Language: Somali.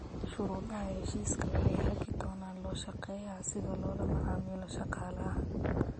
Shuruudaha heshiisku waxay hagi doonaan loo shaqeeyaha sida loola macaamilo shaqaalaha.